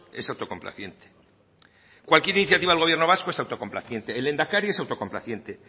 es autocomplaciente cualquier iniciativa del gobierno vasco es autocomplaciente el lehendakari es autocomplaciente